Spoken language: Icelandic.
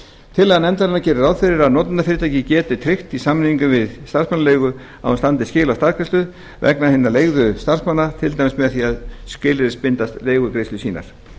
tillaga nefndarinnar gerir ráð fyrir að notendafyrirtækið geti tryggt í samningi við starfsmannaleiguna að hún standi skil á staðgreiðslu vegna hinna leigðu starfsmanna til dæmis með því að skilyrðisbinda leigugreiðslur sínar